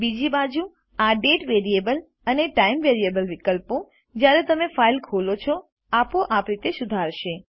બીજી બાજુ આDate અને ટાઇમ વિકલ્પો જ્યારે તમે ફાઈલ ખોલો છો આપોઆપ રીતે સુધારાશે